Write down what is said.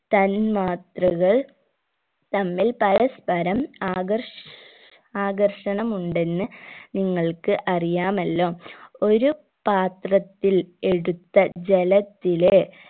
തന്മാത്രകൾ തമ്മിൽ പരസ്പരം ആകർഷ് ആകർഷനമുണ്ടെന്ന് നിങ്ങൾക്ക് അറിയാമല്ലോ ഒരു പാത്രത്തിൽ എടുത്ത ജലത്തിലെ